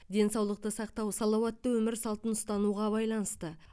денсаулықты сақтау салауатты өмір салтын ұстануға байланысты